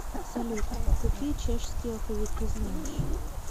салют какие чешский алфавит ты знаешь